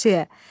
Tövsiyə.